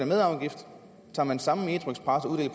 med afgift tager man samme metroxpress